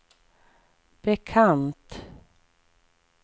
bekant